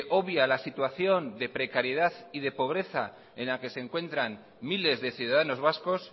obvia la situación de precariedad y de pobreza en la que se encuentran miles de ciudadanos vascos